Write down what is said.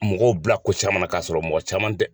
Mɔgɔw bila ko caman na k'a sɔrɔ mɔgɔ caman tɛ